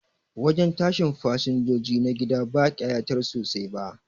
Wajen tashin fasinjoji na gida ba kayatar sosai ba